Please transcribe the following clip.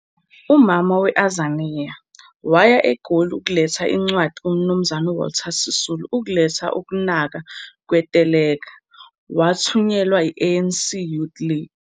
"UMama we-Azania" waya egoli ukuletha incwadi kumnumzane uWalter Sisulu ukuletha ukunaka kweteleka, Wathunyelwe eANCYL.